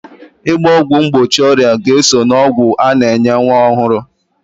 Ịgba ọgwụ mgbochi ọrịa ga-eso n'ọgwụ a na-enye nwa ọhụrụ